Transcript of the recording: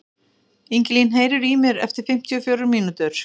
Ingilín, heyrðu í mér eftir fimmtíu og fjórar mínútur.